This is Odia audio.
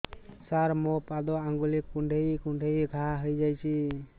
ସାର ମୋ ପାଦ ଆଙ୍ଗୁଳି କୁଣ୍ଡେଇ କୁଣ୍ଡେଇ ଘା ହେଇଯାଇଛି